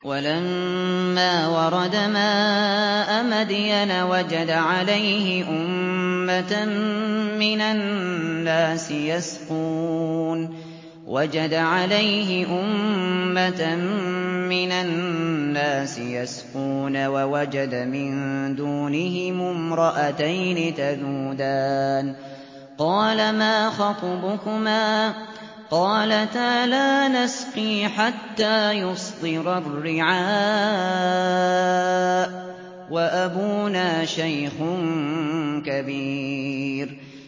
وَلَمَّا وَرَدَ مَاءَ مَدْيَنَ وَجَدَ عَلَيْهِ أُمَّةً مِّنَ النَّاسِ يَسْقُونَ وَوَجَدَ مِن دُونِهِمُ امْرَأَتَيْنِ تَذُودَانِ ۖ قَالَ مَا خَطْبُكُمَا ۖ قَالَتَا لَا نَسْقِي حَتَّىٰ يُصْدِرَ الرِّعَاءُ ۖ وَأَبُونَا شَيْخٌ كَبِيرٌ